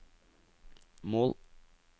mål